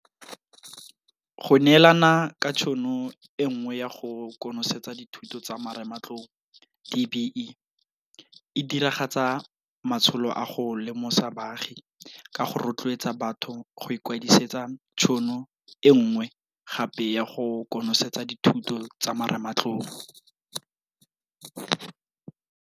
Go neelana ka tšhono e nngwe ya go konosetsa dithuto tsa marematlou DBE e diragatsa matsholo a go lemosa baagi ka go rotloetsa batho go ikwadisetsa tšhono e nngwe gape ya go konosetsa dithuto tsa marematlou.